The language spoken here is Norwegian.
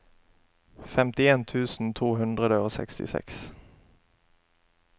femtien tusen to hundre og sekstiseks